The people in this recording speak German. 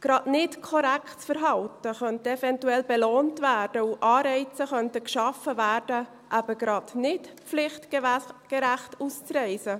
Insbesondere nicht korrektes Verhalten könnte eventuell belohnt werden, und Anreize könnten geschaffen werden, eben gerade nicht pflichtgerecht auszureisen.